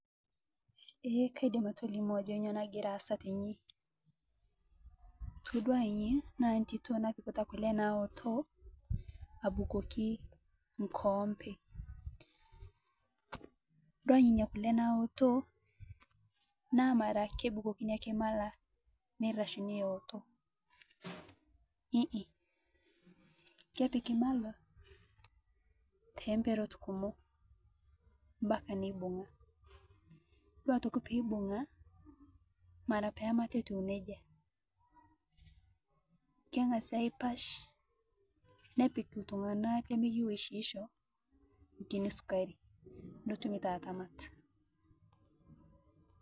Eh kaidim atolim ajo nyo nagira aasa teinye. Todoua enye naa ntito napikutwa kule naoto abukoki nkoombe, idol neina kule naoto naa mara kebukokini ake mala neirashuni eoto, ihihi, kepiki mala, temperot kumo, mpaka neibung'a, yuolo toki peebung'a, mara peemati etiu neja, keng'asi aipash, nepik ltung'ana lemeyeu esiisho nkini sukari netumi taa atamat.